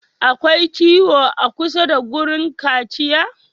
Akwai ciwo a kusa da wurin kaciya?